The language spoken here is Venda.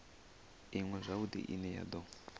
iṅwe zwavhudi ine ya do